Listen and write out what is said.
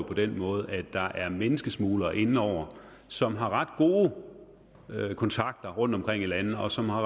på den måde at der er menneskesmuglere inde over som har ret gode kontakter rundtomkring i landet og som har